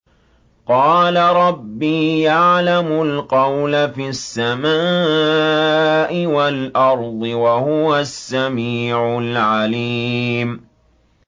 قَالَ رَبِّي يَعْلَمُ الْقَوْلَ فِي السَّمَاءِ وَالْأَرْضِ ۖ وَهُوَ السَّمِيعُ الْعَلِيمُ